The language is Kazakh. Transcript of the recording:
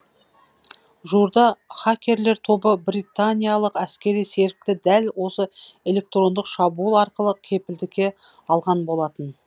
жуырда хакерлер тобы британиялық әскери серікті дәл осы электрондық шабуыл арқылы кепілдікке алған болатын